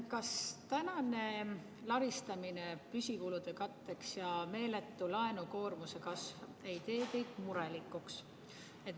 Kas laristamine püsikulude katteks ja meeletu laenukoormuse kasv ei tee teid murelikuks?